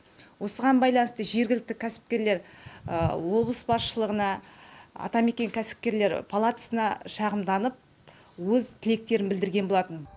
осыған байланысты жергілікті кәсіпкерлер облыс басшылығына атамекен кәсіпкерлер палатасына шағымданып өз тілектерін білдірген болатын